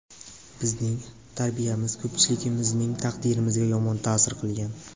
Bizning tarbiyamiz ko‘pchiligimizning taqdirimizga yomon ta’sir qilgan.